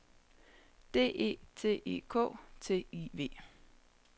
D E T E K T I V